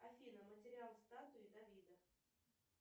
афина материал статуи давида